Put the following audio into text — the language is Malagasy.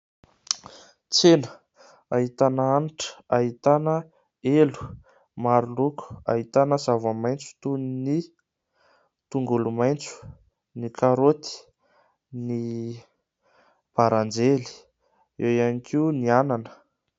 Tsena ahitàna hanitra, ahitàna elo maro loko, ahitàna zava-maitso toy ny tongolo maitso, ny karaoty, ny baranjely, eo ihany koa ny anana.